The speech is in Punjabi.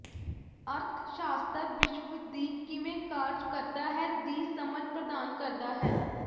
ਅਰਥਸ਼ਾਸਤਰ ਵਿਸ਼ਵ ਦੀ ਕਿਵੇਂ ਕਾਰਜ ਕਰਦਾ ਹੈ ਦੀ ਸਮਝ ਪ੍ਰਦਾਨ ਕਰਦਾ ਹੈ